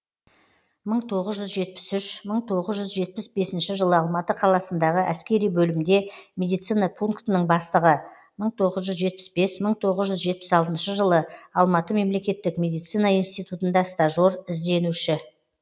мың тоғыз жүз жетпіс үш мың тоғыз жүз жетпіс бесінші жылы алматы қаласындағы әскери бөлімде медицина пунктінің бастығы мың тоғыз жүз жетпіс бесі мың тоғыз жүз жетпіс алтыншы жылы алматы мемлекеттік медицина институтында стажер ізденуші